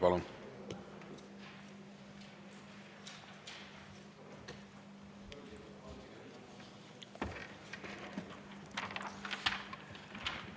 Palun!